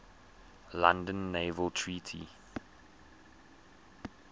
london naval treaty